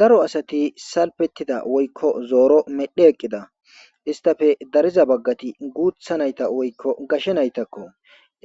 Daro asati salfetida woykko zeero medhi eqqida. Histappe dariza baggati guuththa nayta woykko gashe naytakko.